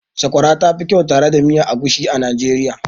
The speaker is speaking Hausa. Sakwara ta fi kyau tare da miya egusi a Najeriya.